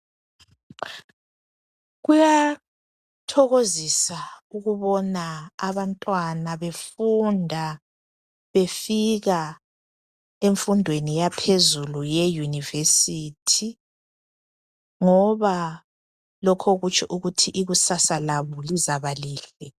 Kuyathokozisa ukubona abantwana befunda befika emfundweni yaphezulu ye university ngoba lokho kutsho ukuthi ikusasa labo lizaba lihle